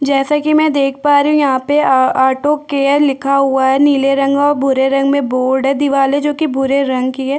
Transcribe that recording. जैसा की मे देख पा रही हूँ यहाँ पे आ ऑटो केयर लिखा हुआ है नीले रंग मे और भूरे रंग मे बोर्ड है दीवाले जो कि भूरे रंग की है।